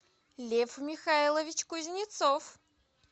лев михайлович кузнецов